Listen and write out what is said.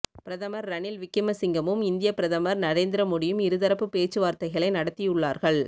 பிரதமர் ரணில் விக்கிமசிங்கவும் இந்தியப் பிரதமர் நரேந்திர மோடியும் இருதரப்புப் பேச்சுவார்த்தைகளை நடத்தியுள்ளார்கள்